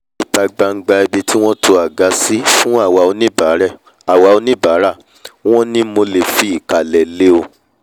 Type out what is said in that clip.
ní ìta gbangba ibi wọ́n to àga sí fún àwa oníbàárà wọn ni mo fìkàlẹ̀ lé o